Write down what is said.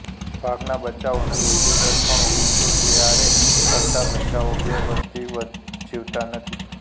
વાઘના બચ્ચાઓનો મૃત્યુદર ઘણો ઊંચો છેઆરે અર્ધા બચ્ચાઓ બે વર્ષથી વધ જીવતા નથી